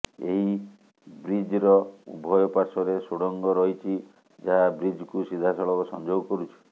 ଏହି ବ୍ରିଜର ଉଭୟ ପାଶ୍ୱର୍ରେ ସୁଡଙ୍ଗ ରହିଛି ଯାହା ବ୍ରିଜକୁ ସିଧାସଳଖ ସଂଯୋଗ କରୁଛି